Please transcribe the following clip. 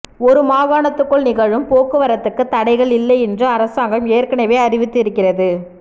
ஒரு மாகாணத்துக்குள் நிகழும் போக்குவரத்துக்கு தடைகள் இல்லை என்று அரசாங்கம் ஏற்கனவே அறிவித்து இருக்கிறது